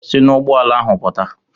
Si n'ụgbọala ahụ pụta!